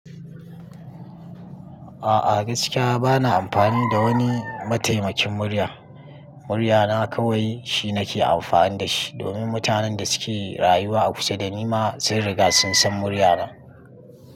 A'a gaskiya bana amfani da wani mataimakin murya. Muryana kawai shi nake amfani da shi domin mutanen da suke rayuwa a kusa da ni ma sun riga sun san muryana.